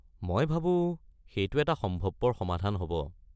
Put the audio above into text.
মই ভাবো সেইটো এটা সম্ভৱপৰ সমাধান হ'ব।